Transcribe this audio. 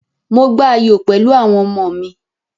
Mò gba ayò pẹ̀lú àwọn ọmọ mi.